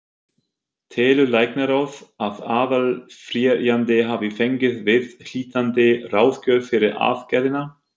Telur læknaráð, að aðaláfrýjandi hafi fengið viðhlítandi ráðgjöf fyrir aðgerðina?